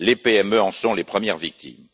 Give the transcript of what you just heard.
Les PME en sont les premières victimes.